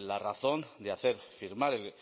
la razón de hacer firmar el